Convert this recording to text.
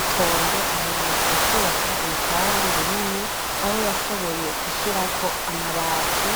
Itonde aherutse kubaka urupangu runini aho yashoboye gushirako amabati